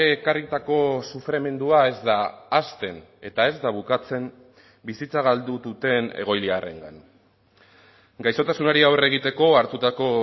ekarritako sufrimendua ez da hasten eta ez da bukatzen bizitza galdu duten egoiliarrengan gaixotasunari aurre egiteko hartutako